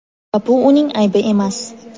Va bu uning aybi emas.